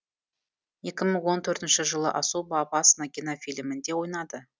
екі мың он төртінші жылы особо опасна кинофильмінде ойнады